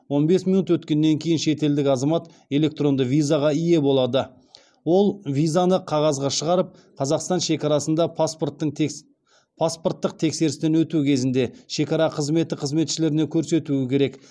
он бес минут өткеннен кейін шетелдік азамат электронды визаға ие болады ол визаны қағазға шығарып қазақстан шекарасында паспорттық тексерістен өту кезінде шекара қызметі қызметшілеріне көрсетуі керек